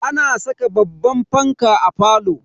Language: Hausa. Ana saka babban fanka a falo.